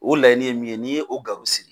O laɲini ye min ye n'i y'o sigi.